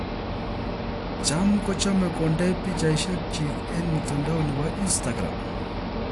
Cham ko chome kondei pichaishek chik eng mutandao nebo instagram.